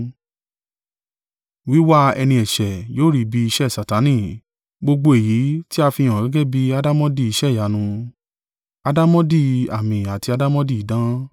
Wíwá ẹni ẹ̀ṣẹ̀ yóò rí bí iṣẹ́ Satani, gbogbo èyí tí a fihàn gẹ́gẹ́ bí àdàmọ̀dì iṣẹ́ ìyanu, àdàmọ̀dì àmì àti àdàmọ̀dì idán,